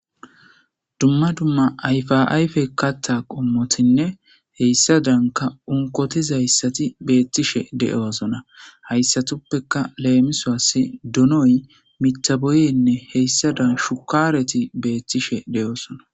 Dumma dumma ayfaayfe katta qommotinne heyssa danka unkotizayssati beettishe de7osona hayssatuppeka leemisoas dunoy mitaboyenne heyssada shukaareti beettishe de7osona.